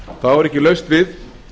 þá er ekki laust við